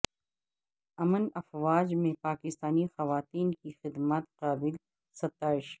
امن افواج میں پاکستانی خواتین کی خدمات قابل ستائش